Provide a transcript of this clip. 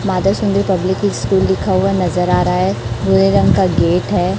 माता Sundari public school लिखा हुआ नजर आ रहा है भुरे रंग का गेट है।